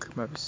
gamabes....